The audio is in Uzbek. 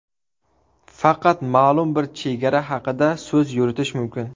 Faqat ma’lum bir chegara haqida so‘z yuritish mumkin.